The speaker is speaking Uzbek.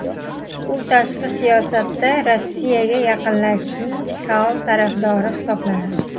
U tashqi siyosatda Rossiyaga yaqinlashishning faol tarafdori hisoblanadi.